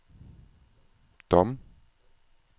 Dom